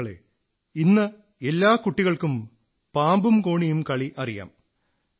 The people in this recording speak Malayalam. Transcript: സുഹൃത്തുക്കളേ ഇന്ന് എല്ലാ കുട്ടികൾക്കും പാമ്പും കോണിയും കളി അറിയാം